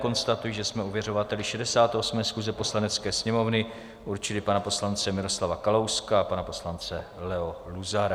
Konstatuji, že jsme ověřovateli 68. schůze Poslanecké sněmovny určili pana poslance Miroslava Kalouska a pana poslance Leo Luzara.